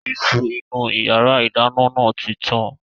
Iṣu inú ìyàrá-ìdáná náà tí tán.